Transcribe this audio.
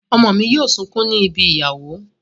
Ọmọ mi yóò sunkún ní ibi ìyàwó.